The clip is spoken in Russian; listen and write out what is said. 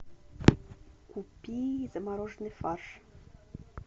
купи замороженный фарш